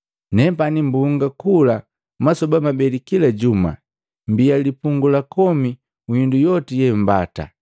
Nepani mbunga kula masoba mabeli kila juma, mbia lipungu la komi mhindu yoti yembata.’